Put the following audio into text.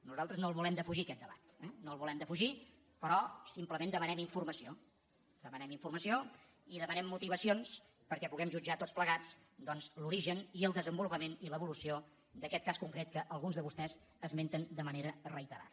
nosaltres no el volem defugir aquest debat eh no el volem defugir però simplement demanem informació demanem informació i demanem motivacions perquè puguem jutjar tots plegats doncs l’origen i el desenvolupament i l’evolució d’aquest cas concret que alguns de vostès esmenten de manera reiterada